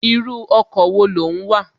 Irú ọkọ̀ wo ló ń wà?